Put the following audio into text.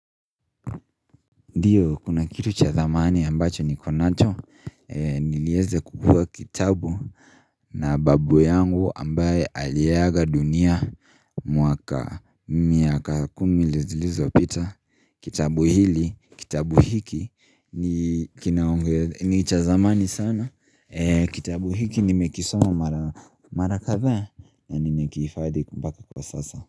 Ndiyo, kuna kitu cha thamani ambacho niko nacho? Nilieze kukua kitabu na babu yangu ambaye aliaga dunia mwaka miaka kumi lizilizo pita, kitabu hili, kitabu hiki, ni kina ni cha zamani sana, kitabu hiki nimekisoma mara mara kadha na nime kihifadhi ku mpaka kwa sasa.